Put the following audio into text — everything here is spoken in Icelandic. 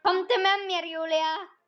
Komdu með mér Júlía.